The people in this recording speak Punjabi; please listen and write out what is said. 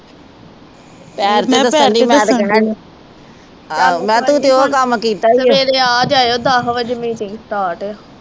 ਸਵੇਰੇ ਆ ਜਾਇਓ ਦਸ ਵਜੇ meeting start ਆ।